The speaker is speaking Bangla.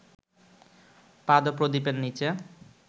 পাদপ্রদীপের নিচে